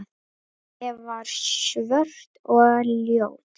Ég var svört og ljót.